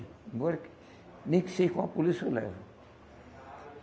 Bora que nem que seja com a polícia, eu levo.